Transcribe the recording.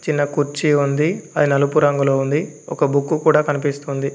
చిన్న కుర్చీ ఉంది అది నలుపు రంగులో ఉంది. ఒక బుక్కు కూడా కనిపిస్తుంది.